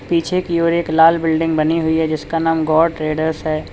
पीछे की ओर एक लाल बिल्डिंग बनी हुई है जिसका नाम गौर ट्रेडर्स है।